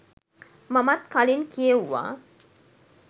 මමත් කලින් කියෙව්වා.